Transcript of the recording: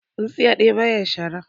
Tsintsiya ɗaya baya shara